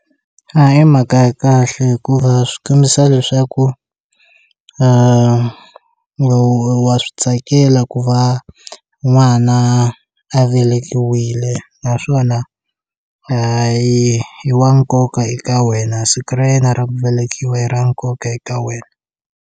A hi mhaka ya kahle hikuva swi kombisa leswaku wa swi tsakela ku va n'wana a velekiwile naswona a yi i wa nkoka eka wena siku ra yena ra ku velekiwa i ra nkoka eka wena.